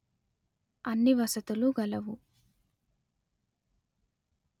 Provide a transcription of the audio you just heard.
అన్ని వసతులు గలవు